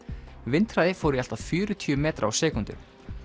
vindhraði fór í allt að fjörutíu metra á sekúndu